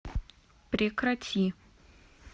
прекрати